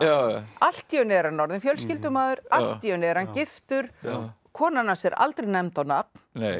allt í einu er hann orðinn fjölskyldumaður allt í einu er hann giftur konan hans er aldrei nefnd á nafn